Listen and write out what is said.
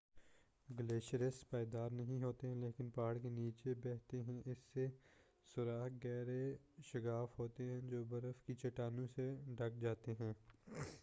glaciers پائیدار نہیں ہوتے ہیں لیکن پہاڑ کے نیچے بہتے ہیں اس سے سوراخ گہرے شگاف ہوتے ہیں جو برف کی چٹانوں سے ڈھک جاتے ہیں